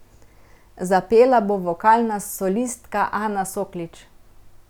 Zapela bo vokalna solistka Ana Soklič.